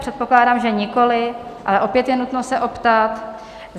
Předpokládám, že nikoli, ale opět je nutno se optat.